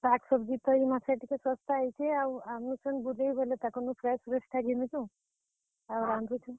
ଶାଗ, सब्जी ତ ଇ ମାସେ ଟିକେ ଶସ୍ତା ହେଇଛେ ଆଉ ଆନୁଛନ୍ ବୁଲେଇ ବେଲେ, ତାକର୍ ନୁ fresh fresh ଟା ଘିନୁଛୁଁ, ଆଉ ରାନ୍ଧୁଛୁଁ।